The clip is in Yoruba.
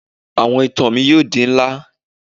Awọn itan mi yoo di nla